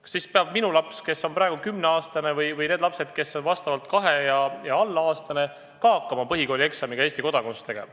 Kas sel juhul peab minu laps, kes on praegu 10-aastane, või need lapsed, kes on vastavalt kahe- ja alla-aastane, ka hakkama põhikoolis Eesti kodakondsuse eksamit tegema?